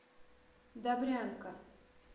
добрянка